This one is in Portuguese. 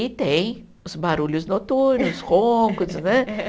E tem os barulhos noturnos, roncos, né?